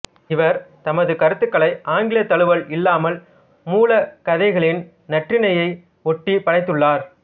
இவா் தமது கருத்துக்களை ஆங்கிலத் தழுவல் இல்லாமல் மூலக் கதைகளின் நன்னெறியினை ஒட்டி படைத்துள்ளாா்